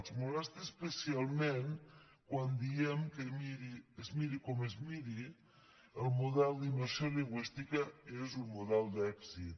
els molesta especialment quan diem que es miri com es miri el model d’immersió lingüística és un model d’èxit